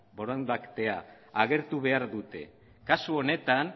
borondatea agertu behar dute kasu honetan